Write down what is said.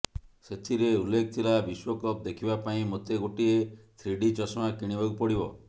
ସେଥିରେ ଉଲ୍ଲେଖ ଥିଲା ବିଶ୍ୱକପ ଦେଖିବା ପାଇଁ ମୋତେ ଗୋଟିଏ ଥ୍ରୀଡି ଚଷମା କିଣିବାକୁ ପଡିବ